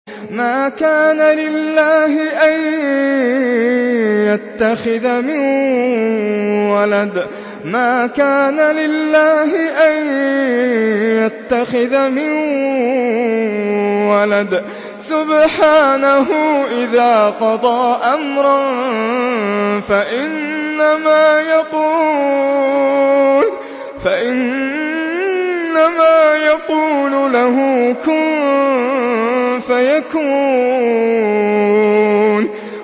مَا كَانَ لِلَّهِ أَن يَتَّخِذَ مِن وَلَدٍ ۖ سُبْحَانَهُ ۚ إِذَا قَضَىٰ أَمْرًا فَإِنَّمَا يَقُولُ لَهُ كُن فَيَكُونُ